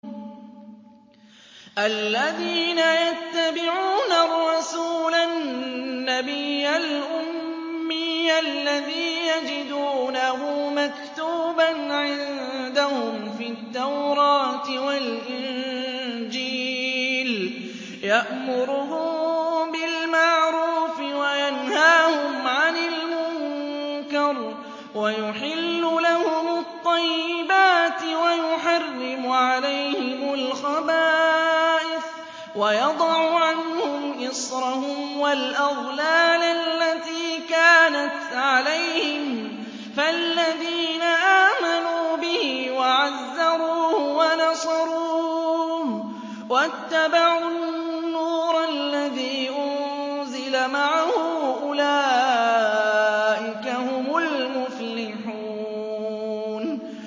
الَّذِينَ يَتَّبِعُونَ الرَّسُولَ النَّبِيَّ الْأُمِّيَّ الَّذِي يَجِدُونَهُ مَكْتُوبًا عِندَهُمْ فِي التَّوْرَاةِ وَالْإِنجِيلِ يَأْمُرُهُم بِالْمَعْرُوفِ وَيَنْهَاهُمْ عَنِ الْمُنكَرِ وَيُحِلُّ لَهُمُ الطَّيِّبَاتِ وَيُحَرِّمُ عَلَيْهِمُ الْخَبَائِثَ وَيَضَعُ عَنْهُمْ إِصْرَهُمْ وَالْأَغْلَالَ الَّتِي كَانَتْ عَلَيْهِمْ ۚ فَالَّذِينَ آمَنُوا بِهِ وَعَزَّرُوهُ وَنَصَرُوهُ وَاتَّبَعُوا النُّورَ الَّذِي أُنزِلَ مَعَهُ ۙ أُولَٰئِكَ هُمُ الْمُفْلِحُونَ